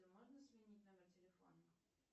можно сменить номер телефона